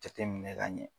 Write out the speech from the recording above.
Jateminɛ ka ɲɛ